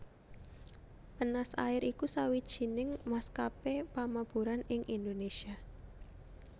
Penas Air iku sawijining maskapé pamaburan ing Indonésia